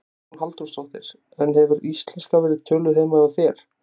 Hugrún Halldórsdóttir: En hefur íslenska verið töluð heima hjá þér?